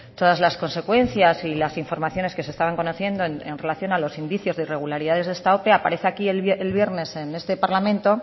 todas las consecuencias y las informaciones que se estaban conociendo en relación a los indicios de irregularidades de esta ope aparece aquí el viernes en este parlamento